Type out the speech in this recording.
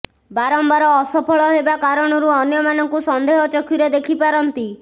ବାରମ୍ବାର ଅସଫଳ ହେବା କାରଣରୁ ଅନ୍ୟମାନଙ୍କୁ ସନ୍ଦେହ ଚକ୍ଷୁରେ ଦେଖିପାରନ୍ତି